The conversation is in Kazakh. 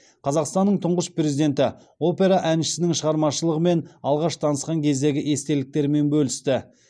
қазақстанның тұңғыш президенті опера әншісінің шығармашылығымен алғаш танысқан кездегі естеліктермен бөлісті